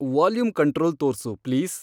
volume control ತೋರ್ಸು please